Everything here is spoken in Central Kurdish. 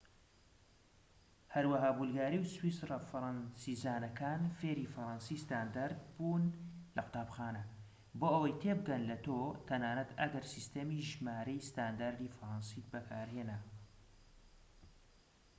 هەروەها بولگاری و سویسریە فەرەنسیزانەکان فێری فەرەنسی ستاندارد بوون لە قوتابخانە بۆ ئەوەی تێبگەن لە تۆ تەنانەت ئەگەر سیستەمی ژمارەی ستانداردی فەرەنسیت بەکارهێنا